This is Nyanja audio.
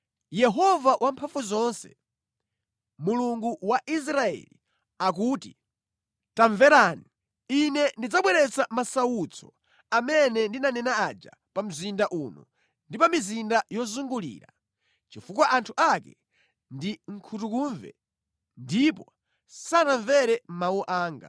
“Yehova Wamphamvuzonse, Mulungu wa Israeli, akuti, ‘Tamverani! Ine ndidzabweretsa masautso amene ndinanena aja pa mzinda uno ndi pa mizinda yozungulira, chifukwa anthu ake ndi nkhutukumve ndipo sanamvere mawu anga.’ ”